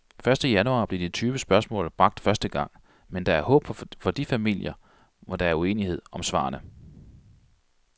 Første januar blev de tyve spørgsmål bragt første gang, men der er håb for de familier, hvor der er uenighed om svarene.